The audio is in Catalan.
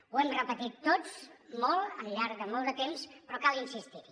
ho hem repetit tots molt al llarg de molt de temps però cal insistir hi